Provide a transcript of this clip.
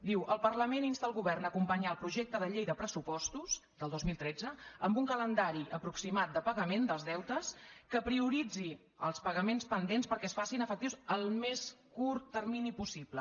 diu el par·lament insta el govern a acompanyar el projecte de llei de pressupostos del dos mil tretze amb un calendari apro·ximat de pagament dels deutes que prioritzi els paga·ments pendents perquè es facin efectius en el més curt termini possible